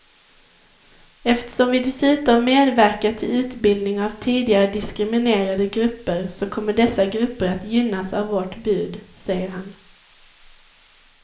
Eftersom vi dessutom medverkar till utbildning av tidigare diskriminerade grupper så kommer dessa grupper att gynnas av vårt bud, säger han.